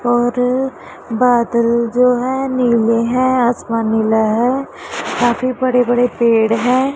और बादल जो है नीले है आसमान नीला है काफी बड़े बड़े पेड़ हैं।